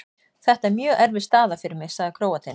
Þetta er mjög erfið staða fyrir mig, sagði Króatinn.